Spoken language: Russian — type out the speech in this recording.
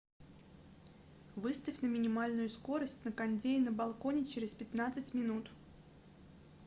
выставь на минимальную скорость на кондее на балконе через пятнадцать минут